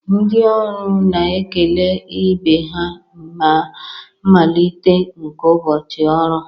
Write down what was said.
Ndị ọrụ na-ekele ibe ha na mmalite nke ụbọchị ọrụ